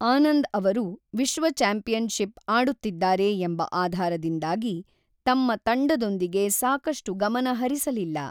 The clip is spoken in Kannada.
ಆನಂದ್ ಅವರು ವಿಶ್ವ ಚಾಂಪಿಯನ್‌ಶಿಪ್ ಆಡುತ್ತಿದ್ದಾರೆ ಎಂಬ ಆಧಾರದಿಂದಾಗಿ ತಮ್ಮ ತಂಡದೊಂದಿಗೆ ಸಾಕಷ್ಟು ಗಮನ ಹರಿಸಲಿಲ್ಲ.